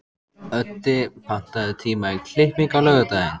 Öddi, pantaðu tíma í klippingu á laugardaginn.